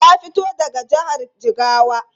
Ta fito daga jihar Jigawa.